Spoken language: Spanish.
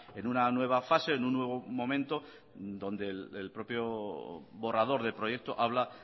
en una nueva fase en un nuevo momento donde el propio borrador de proyecto habla